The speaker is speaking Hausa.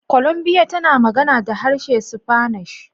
Columbia, tana magana da harshe spanish